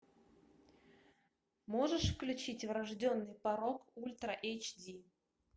можешь включить врожденный порок ультра эйч ди